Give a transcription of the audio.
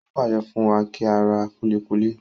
Ó pàṣẹ fún wa kí á ra kúlíkúlí.